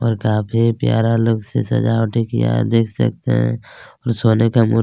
और काफी प्यारा अलग से सजावटे किया आप देख सकते है और सोने का मूर्ति--